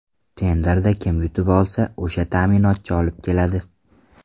Tenderda kim yutib olsa, o‘sha ta’minotchi olib keladi.